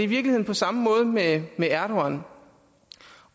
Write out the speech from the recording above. virkeligheden på samme måde med erdogan